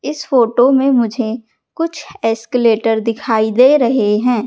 इस फोटो में मुझे कुछ एस्केलेटर दिखाई दे रहे हैं।